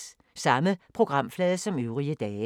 Samme programflade som øvrige dage